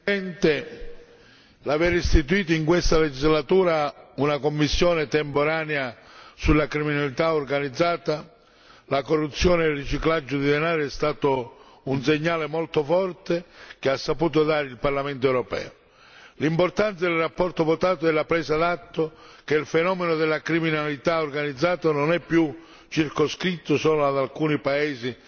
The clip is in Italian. Signora Presidente, onorevoli colleghi, l'aver istituito in questa legislatura una commissione temporanea sulla criminalità organizzata, la corruzione e il riciclaggio di denaro è stato un segnale molto forte che ha saputo dare il Parlamento europeo. L'importante della relazione votata è la presa d'atto che il fenomeno della criminalità organizzata non è più circoscritto solo ad alcuni paesi